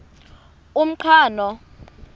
umqhano